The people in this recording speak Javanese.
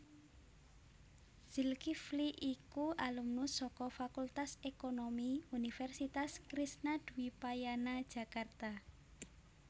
Zilkifli iku alumnus saka Fakultas Ekonomi Universitas Krisnadwipayana Jakarta